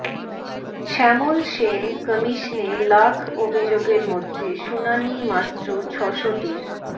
শ্যামল সেন কমিশনে লাখ অভিযোগের মধ্যে শুনানি মাত্র ছশোটির